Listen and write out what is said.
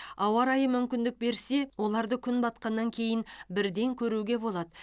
ауа райы мүмкіндік берсе оларды күн батқаннан кейін бірден көруге болады